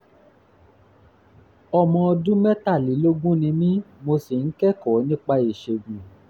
ọmọ ọdún mẹ́tàlélógún ni mí mo sì ń kẹ́kọ̀ọ́ nípa ìṣègùn